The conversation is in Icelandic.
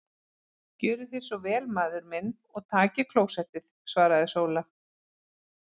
Gjörið þér svo vel maður minn og takið klósettið, svaraði Sóla.